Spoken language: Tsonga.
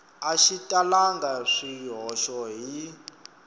a xi talangi swihoxo hi